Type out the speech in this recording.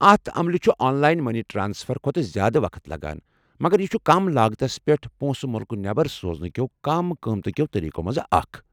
اتھ عملہِ چھُ آن لاین مٔنی ٹرٛانسفر کھۄتہٕ زیٛادٕ وقت لگان، مگر یہِ چھُ کم لاگتس پٮ۪ٹھ پونٛسہٕ مُلكہٕ نٮ۪بر سوزنہٕ کٮ۪و كم قۭمتہٕ كیو٘ طٔریٖقو منٛزٕ اكھ ۔